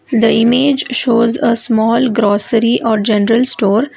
The image shows a small grocery or general store.